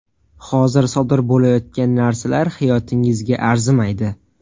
Hozir sodir bo‘layotgan narsalar hayotingizga arzimaydi.